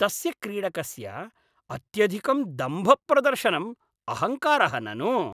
तस्य क्रीडकस्य अत्यधिकं दम्भप्रदर्शनम् अहंकारः ननु।